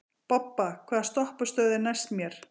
Bobba, hvaða stoppistöð er næst mér?